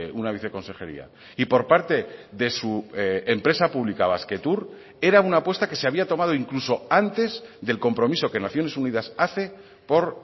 una viceconsejería y por parte de su empresa pública basquetour era una apuesta que se había tomado incluso antes del compromiso que naciones unidas hace por